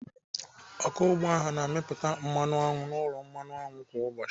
Ọkụ ugbo ahụ na-amịpụta mmanụ aṅụ n'ụlọ aṅụ kwa ụbọchị.